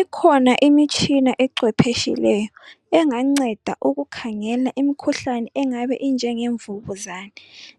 ikhona imitshina ecwephetshileyo enganceda ukukhangela imkhuhlane engabe injenge mvukuzane